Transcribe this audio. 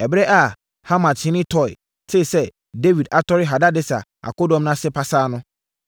Ɛberɛ a Hamathene Toi tee sɛ Dawid atɔre Hadadeser akodɔm no ase pasaa no,